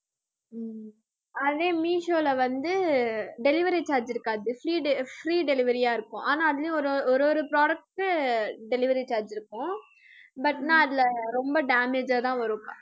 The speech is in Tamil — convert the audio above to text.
அதே மீஷோல வந்து delivery charge இருக்காது free free delivery யா இருக்கும் ஆனா அதுலயும் ஒரு ஒரு product delivery charge இருக்கும் but நான் அதுல ரொம்ப damage தான் வரும்